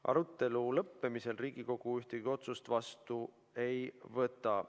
Arutelu lõppemisel Riigikogu ühtegi otsust vastu ei võta.